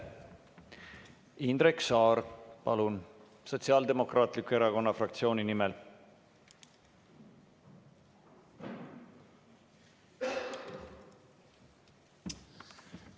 Indrek Saar, palun, Sotsiaaldemokraatliku Erakonna fraktsiooni nimel!